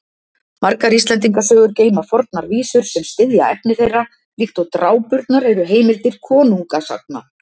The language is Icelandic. Margar Íslendingasögur geyma fornar vísur sem styðja efni þeirra, líkt og drápurnar eru heimildir konungasagna.